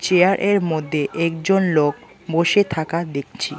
মধ্যে একজন লোক বসে থাকা দেখছি।